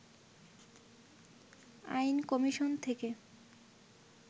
আইন কমিশন থেকে